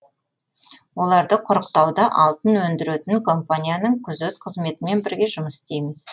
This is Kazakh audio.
оларды құрықтауда алтын өндіретін компанияның күзет қызметімен бірге жұмыс істейміз